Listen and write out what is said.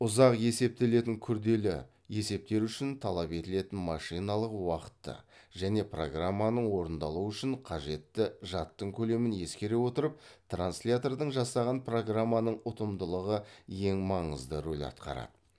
ұзақ есептелетін күрлелі есептер үшін талап етілетін машиналық уақытты және программаның орындалуы үшін қажетті жадтың көлемін ескере отырып транслятордың жасаған программаның ұтымдылығы ең маңызды рол атқарады